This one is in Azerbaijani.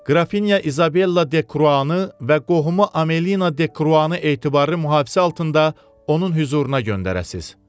Qrafinya İzabella de Kruanı və qohumu Amelino de Kruanı etibarlı mühafizə altında onun hüzuruna göndərəsiniz.